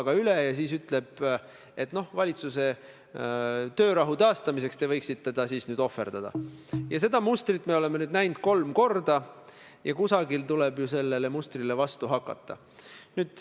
Kui teil on tõesti andmeid, et tänane peaminister Jüri Ratas on igal hetkel nõus maha müüma Eesti, Eestimaa ehk reetma riiki, siis tuleb vastav avaldus, vastavad materjalid peaministri vastu prokuratuurile esitada.